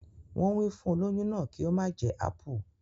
Wọn wí fún olóyún náà kí ó má jẹ ápù